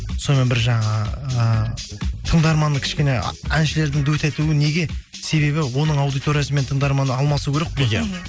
сонымен бір жаңа ыыы тыңдарманның кішкене әншілердің дуэт етуі неге себебі оның аудиториясы мен тыңдарманы алмасу керек қой иә мхм